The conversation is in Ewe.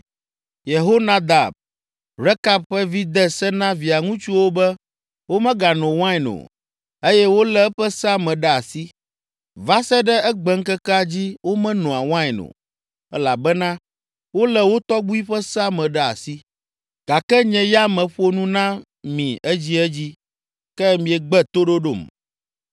‘Yehonadab, Rekab ƒe vi de se na via ŋutsuwo be womegano wain o, eye wolé eƒe sea me ɖe asi. Va se ɖe egbeŋkekea dzi womenoa wain o, elabena wolé wo tɔgbui ƒe sea me ɖe asi. Gake nye ya meƒo nu na mi edziedzi, ke miegbe toɖoɖom.